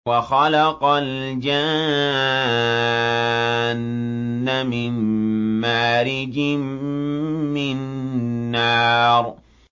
وَخَلَقَ الْجَانَّ مِن مَّارِجٍ مِّن نَّارٍ